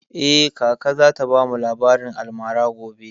Eh, kaka za ta bamu labarin almara gobe